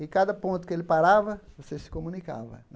E, a cada ponto que ele parava, vocês se comunicava.